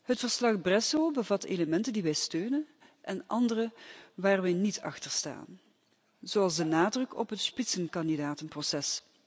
Het verslag Bresso bevat elementen die wij steunen en andere waar we niet achter staan, zoals de nadruk op het Spitzenkandidatenproces.